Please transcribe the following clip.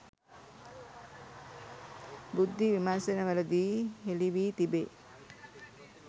බුද්ධි විමර්ශනවලදී හෙළි වී තිබේ